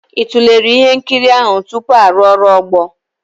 Ị tụlere ihe nkiri ahụ tupu arụ ọrụ ogbo?